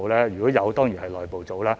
如可以，當然由內部做。